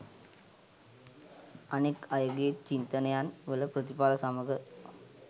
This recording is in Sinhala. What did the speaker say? අනෙක් අයගේ චින්තනයන් වල ප්‍රතිඵල සමග